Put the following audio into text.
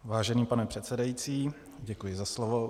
Vážený pane předsedající, děkuji za slovo.